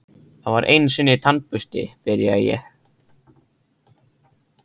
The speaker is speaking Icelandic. Það var einusinni tannbursti, byrja ég.